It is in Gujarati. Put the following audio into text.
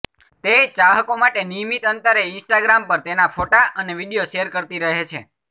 તે ચાહકો માટે નિયમિત અંતરે ઇન્સ્ટાગ્રામ પર તેના ફોટા અને વીડિયો શેર કરતી રહે છે